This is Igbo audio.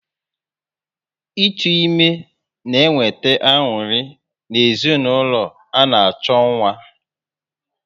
Ịtụ ime na eweta anuri na ezinụlọ ana-acho nwa